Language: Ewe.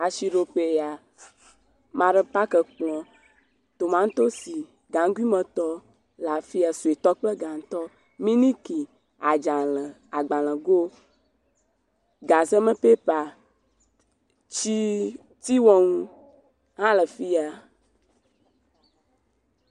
Asiɖoƒee ya, ame aɖe paki kplɔ̃, tomatosi gaŋguimetɔ le afia, suetɔ kple gãtɔ, miliki, adzalẽ, agbalẽgo, gazeme pepa, tea wɔnu hã le fia.